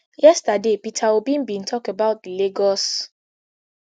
yesterday peter obi bin tok about di lagos